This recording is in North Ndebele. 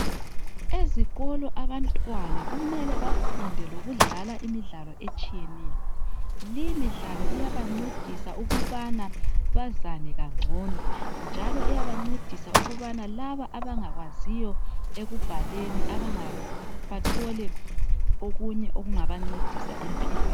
Ezikolo abantwana kumele bafunde lokudlala imidlalo etshiyeneyo, leyi midlalo iyabancedisa ukubana bazane kangcono njalo iyabancedisa ukubana laba abangakwaziyo ekubhaleni bathole okunye okungabancedisa empilweni